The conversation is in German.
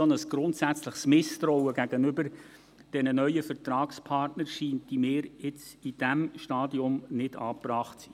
Ein solch grundsätzliches Misstrauen gegenüber diesen neuen Vertragspartnern scheint mir jetzt, in diesem Stadium, nicht angebracht zu sein.